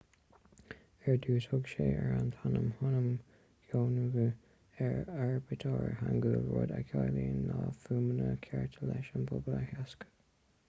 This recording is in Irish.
ar dtús thug sé an t-ainm hunmin jeongeum ar an aibítir hangeul rud a chiallaíonn na fuaimeanna cearta leis an pobal a theagasc